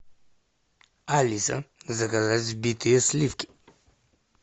алиса заказать взбитые сливки